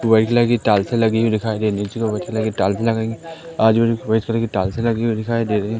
White colour की टाइल्सें लगी हुई दिखाई दे रही हैं नीचे व्हाइट कलर की टाइल्सें लगाई हैं आजू बाजू व्हाइट कलर की टाइल्सें लगी हुई दिखाई दे रही हैं।